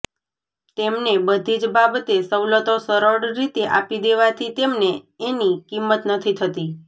તેમને બધી જ બાબતે સવલતો સરળ રીતે આપી દેવાથી તેમને એની કિંમત નથી થતી